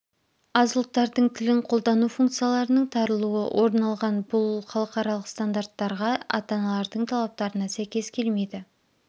аз ұлттардың тілін қолдану функцияларының тарылуы орын алған бұл халықаралық стандарттарға ата-аналардың талаптарына сәйкес келмейді